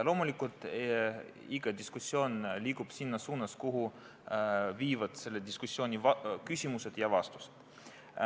Loomulikult, iga diskussioon liigub selles suunas, kuhu viivad selle diskussiooni küsimused ja vastused.